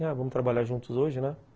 Ah, vamos trabalhar juntos hoje, né?